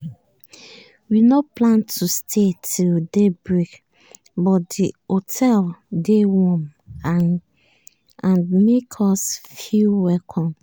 we nor plan to stay till daybreak but di hotel dey warm and and make us feel welcome.